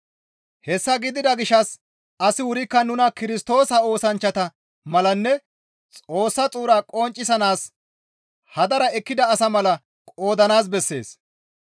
Hessa gidida gishshas asi wurikka nuna Kirstoosa oosanchchata malanne Xoossa xuura qonccisanaas hadara ekkida asa mala qoodanaas bessees.